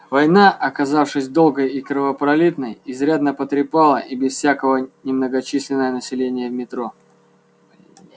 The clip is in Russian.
война оказавшись долгой и кровопролитной изрядно потрепала и без всякого немногочисленное население метро